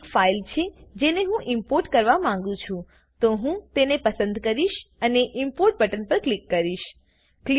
આ એ ફાઈલ છે જેને હું ઈમ્પોર્ટ કરવા માંગું છું તો હું તેને પસંદ કરીશ અને ઇમ્પોર્ટ બટન પર ક્લિક કરીશ